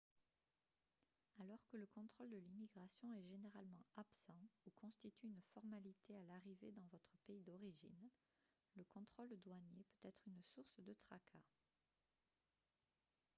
alors que le contrôle de l'immigration est généralement absent ou constitue une formalité à l'arrivée dans votre pays d'origine le contrôle douanier peut être une source de tracas